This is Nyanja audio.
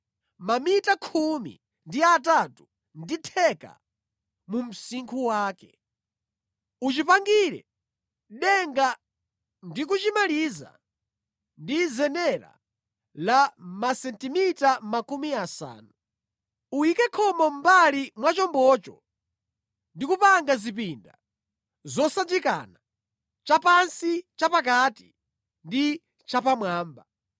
Uchipangire denga ndi kuchimaliza ndi zenera la masentimita makumi asanu. Uyike khomo mʼmbali mwa chombocho ndi kupanga zipinda zosanjikana; chapansi, chapakati ndi chapamwamba.